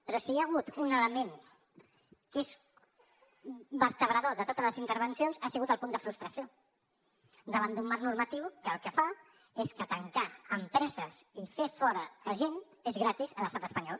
però si hi ha hagut un element que és vertebrador de totes les intervencions ha sigut el punt de frustració davant d’un marc normatiu que el que fa és que tancar empreses i fer fora a gent és gratis a l’estat espanyol